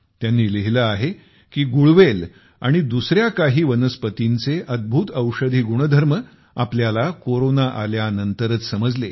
त्यांनी लिहिले आहे की गुळवेल आणि दुसऱ्या आणखी काही वनस्पतींचे अद्भुत औषधी गुणधर्म आपल्याला कोरोना आल्यानंतरच समजले